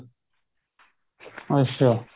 ਅੱਛਾ